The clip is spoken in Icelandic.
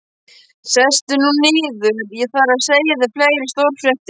Sestu nú niður, ég þarf að segja þér fleiri stórfréttir